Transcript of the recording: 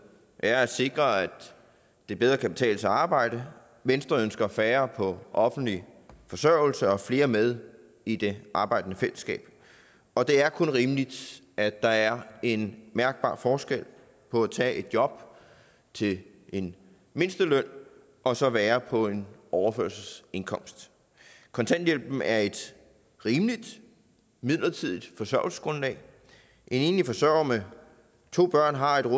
er at sikre at det bedre kan betale sig at arbejde venstre ønsker færre på offentlig forsørgelse og flere med i det arbejdende fællesskab og det er kun rimeligt at der er en mærkbar forskel på at tage et job til en mindsteløn og så at være på en overførselsindkomst kontanthjælpen er et rimeligt midlertidigt forsørgelsesgrundlag en enlig forsørger med to børn har et